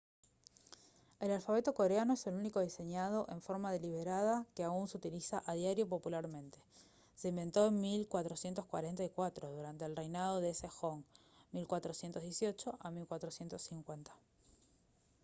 el alfabeto coreano es el único diseñado en forma deliberada que aún se utiliza a diario popularmente. se inventó en 1444 durante el reinado de sejong 1418 a 1450